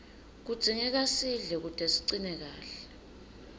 kudzingeka sidle kute sicine kahle